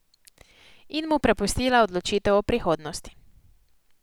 In mu prepustila odločitev o prihodnosti.